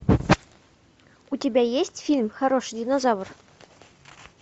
у тебя есть фильм хороший динозавр